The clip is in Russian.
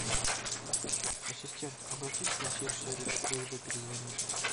ассистент обратись в консьерж сервис с просьбой перезвонить